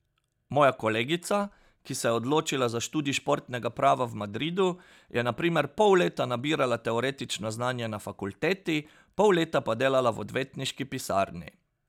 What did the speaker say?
Moja kolegica, ki se je odločila za študij športnega prava v Madridu, je na primer pol leta nabirala teoretično znanje na fakulteti, pol leta pa delala v odvetniški pisarni.